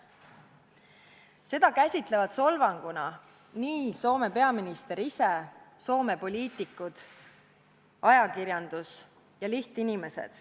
Seda käsitlevad solvanguna nii Soome peaminister ise, Soome poliitikud, ajakirjandus kui ka lihtinimesed.